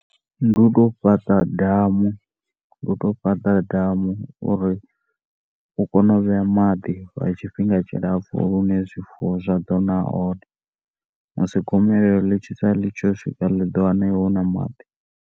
Ndi u tou fhaṱa damu u tou fhaṱa damu uri u kone u vhea maḓi lwa tshifhinga tshilapfu hune zwifuwo zwa ḓo ṅwa one musi gomelelo ḽi tshi sala ḽi tshi yo swika ḽi ḓo wana iwe una maḓi.